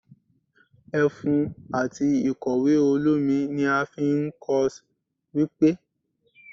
efún atí ikọwe olomí ní a fí n kos-wjpé